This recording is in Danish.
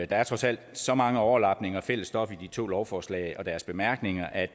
der er trods alt så mange overlapninger og fælles stof i de to lovforslag og deres bemærkninger at